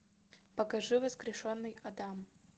покажи воскрешенный адам